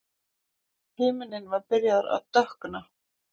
Himinninn var byrjaður að dökkna.